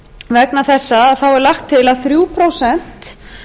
vegna þessa þá er lagt til að þrjú prósent